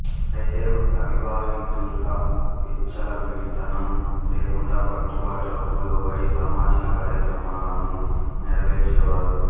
అయితే అవివాహితలు విచ్చల విడితనం లేకుండా కట్టుబాట్లకు లోబడి సామాజిక కార్యక్రమాలను నెరవేర్చే వారు